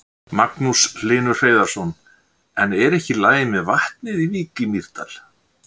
Magnús Hlynur Hreiðarsson: En er ekki í lagi með vatnið í Vík í Mýrdal?